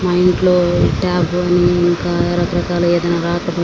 మా ఇంట్లో టాప్ గాని ఇంకా రకరకాలుగ ఏదైనా రాకపోయి --